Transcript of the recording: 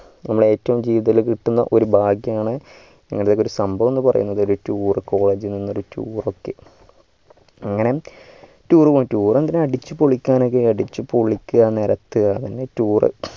നമ്മളെ ഏറ്റവും ജീവിതത്തിൽ കിടക്കുന ഒരു ഭാഗ്യാണ് അതൊരു സംഭവം എന്ന് പറയുന്നത് ഒരു tourcollege നിന്നൊരു tour ഒക്കെ അങ്ങനെ tour പോയി tour എന്തിനാ അടിച്ചു പൊളിക്കാനൊക്കെ അടിച്ചു പൊളിക്ക നേരത്തുക അതാണ് tour